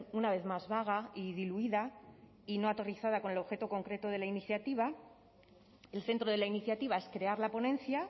una vez más vaga y diluida y no aterrizada con el objeto concreto de la iniciativa el centro de la iniciativa es crear la ponencia